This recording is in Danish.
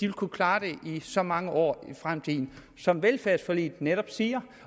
kunne klare det i så mange år i fremtiden som velfærdsforliget netop siger